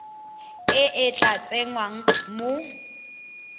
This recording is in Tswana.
e e tla tsengwang mo